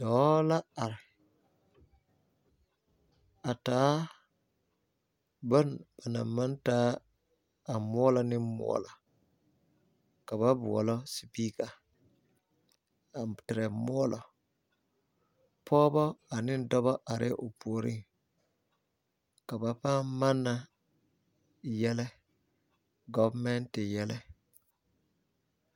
Dɔɔ la are a taa bone ba na maŋ de yelle ne yɛllɛ kaa yire. Pɔgba ane dɔba are la a dɔɔ pʋoreŋ kyɛ ka ba manna yelle